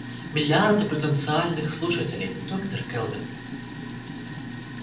миллиарды потенциальных слушателей доктор кэлвин